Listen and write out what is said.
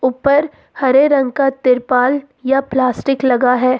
ऊपर हरे रंग का तिरपाल या प्लास्टिक लगा है।